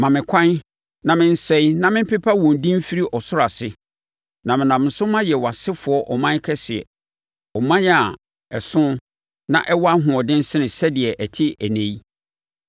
Ma me ɛkwan na mensɛe na mempepa wɔn din mfiri ɔsoro ase. Na menam so mayɛ wʼasefoɔ ɔman kɛseɛ; ɔman a ɛso na ɛwɔ ahoɔden sene sɛdeɛ ɛte ɛnnɛ yi.”